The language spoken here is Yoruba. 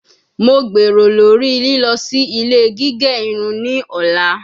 Mo gbero lori lilọ si ile gige irun ni ọla